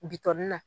Bitɔn nin na